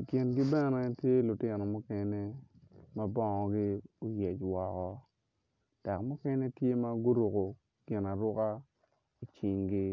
i kingi bene tye lutino mukene ma bongogi oyec woko dok mukene tye ma guruko ginaruka i cingi.